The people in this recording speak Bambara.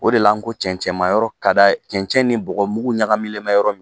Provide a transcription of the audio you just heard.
O de la n ko cɛncɛma yɔrɔ ka d'a ye cɛncɛn ni bɔgɔmugu ɲagamilen mɛ yɔrɔ min